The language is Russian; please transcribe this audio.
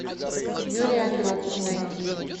юрий андропов найти